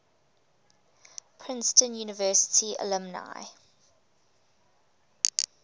princeton university alumni